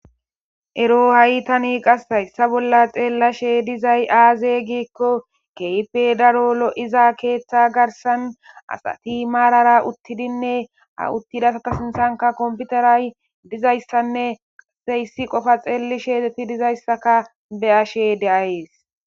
Ero ha'i tani qashayssa bolla xeellashe dizay aaze giikko keype daro lo'iza keeththa garsan asati maarara uttidinne a uttidasata sinthanka komputaray dizayssanne qaseyssi qofa xeelli sheexeti dizayssaka be ashe deayees.